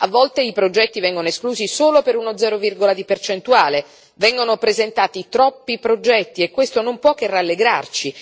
A volte, i progetti vengono esclusi solo per uno 0, di percentuale, vengono presentati troppi progetti e questo non può che rallegrarci.